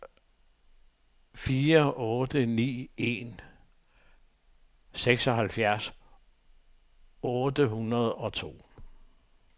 fire otte ni en seksoghalvfjerds otte hundrede og to